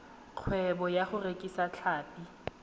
kgwebo ka go rekisa tlhapi